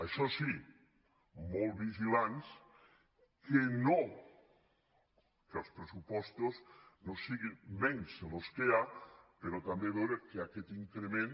això sí molt vigilants que als pressupostos no siguin menys dels que hi ha però tam·bé veure que aquest increment